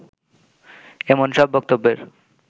এমন সব বক্তব্যের